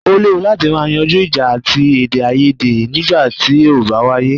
O léwu láti má yanjú ìjà àti èdèaiyèdè nígbà tí o bá wáyé.